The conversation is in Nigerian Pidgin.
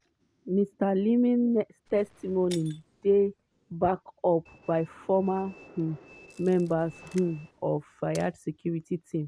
mr leeming testimony dey backed up by former um members um of fayed security team.